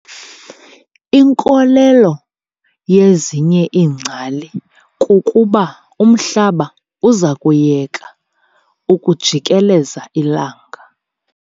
Inkolelo yezinye ingcali kukubaumhlaba uza kuyeka ukujikeleza ilanga.